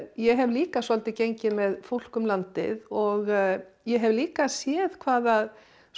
ég hef líka svolítið gengið með fólk um landið og ég hef líka séð hvað